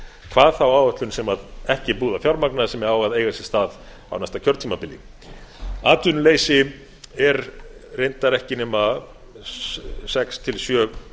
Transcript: hvað þá áætlun sem er ekki búið að fjármagna sem á að eiga sér stað á næsta kjörtímabili atvinnuleysi er reyndar ekki nema sex til sjö